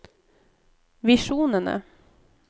visjonene